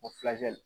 O